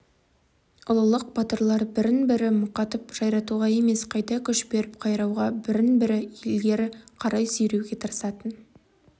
ұлылық батырлар бірін-бірі мұқатып жайратуға емес қайта күш беріп қайрауға бірін-бірі ілгері қарай сүйреуге тырысатын